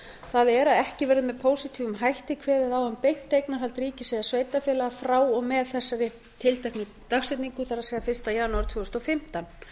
það er að ekki verði með pósitífum hætti kveðið á um beint eignarhald ríkis eða sveitarfélaga frá og með þessari tilteknu dagsetningu það er fyrsta janúar tvö þúsund og fimmtán